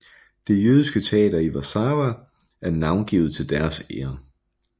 Det jødiske teater i Warszawa er navngivet til deres ære